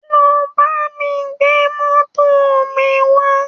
Lọ bá mi gbé mọ́tò mi wá!